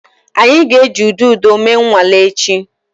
Anyị ga-eji udodo mee nnwale echi.